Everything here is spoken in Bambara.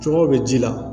Cogo bɛ ji la